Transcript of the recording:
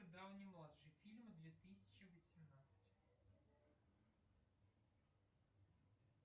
дауни младший фильмы две тысячи восемнадцать